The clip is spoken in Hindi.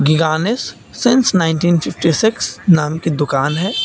गानिश सिंस नाइंटिन फिफ्टी सीक्स नाम की दुकान है।